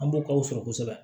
An b'o k'aw sɔrɔ kosɛbɛ